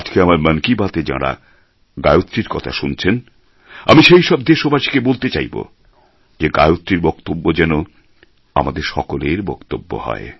আজকে আমার মন কি বাত এ যাঁরা গায়ত্রীর কথা শুনছেন আমি সেই সব দেশবাসীকে বলতে চাইবো যে গায়ত্রীর বক্তব্য যেন আমাদের সকলের বক্তব্য হয়